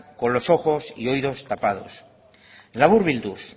con los ojos y oídos tapados laburbilduz